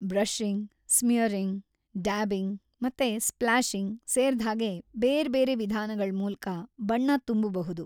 Brushing, smearing, dabbing ಮತ್ತೆ splashing ಸೇರ್ದ್‌ಹಾಗೆ ಬೇರ್ಬೇರೆ ವಿಧಾನಗಳ್‌ ಮೂಲ್ಕ ಬಣ್ಣ ತುಂಬ್‌ಬಹುದು.